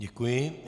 Děkuji.